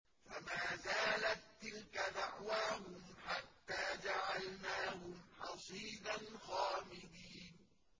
فَمَا زَالَت تِّلْكَ دَعْوَاهُمْ حَتَّىٰ جَعَلْنَاهُمْ حَصِيدًا خَامِدِينَ